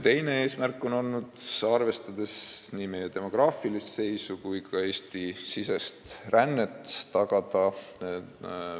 Teine eesmärk on olnud tagada perearstiabi kättesaadavus ka kaugemas tulevikus väljaspool suuremaid keskusi.